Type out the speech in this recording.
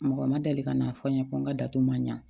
Mɔgɔ ma deli ka n'a fɔ n ye ko n ka datu man ɲa